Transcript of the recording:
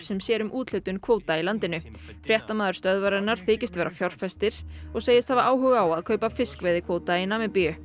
sem sér um úthlutun kvóta í landinu fréttamaður stöðvarinnar þykist vera fjárfestir og segist hafa áhuga á að kaupa fiskveiðikvóta í Namibíu